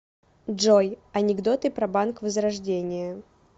джой анекдоты про банк возрождение